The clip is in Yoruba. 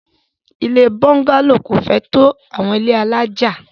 Ilé búngálò kò fẹ́ tó àwọn ilé alájà.